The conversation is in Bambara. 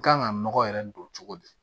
Kan ka nɔgɔ yɛrɛ don cogo di